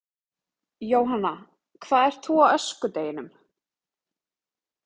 Jóhanna: Hvað ert þú á öskudeginum?